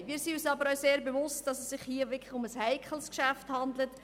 Dabei sind wir uns sehr bewusst, dass es sich hier um eine heikles Geschäft handelt.